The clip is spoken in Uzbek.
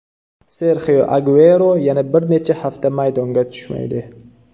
Serxio Aguero yana bir necha hafta maydonga tushmaydi.